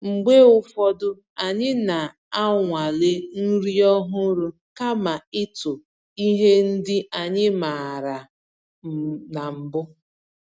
Mgbe ụfọdụ, anyị na-anwale nri ọhụrụ kama ịtụ ihe ndị anyị maara na mbụ